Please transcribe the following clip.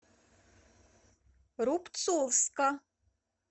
рубцовска